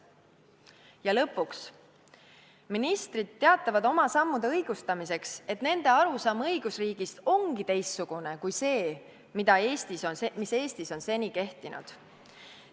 Ja lõpuks, ministrid teatavad oma sammude õigustamiseks, et nende arusaam õigusriigist ongi teistsugune kui see, mis Eestis on seni kehtinud.